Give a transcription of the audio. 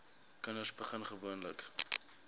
kinders begin gewoonlik